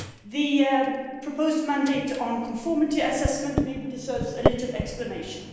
The proposed mandate on conformity assessment maybe deserves a little explanation.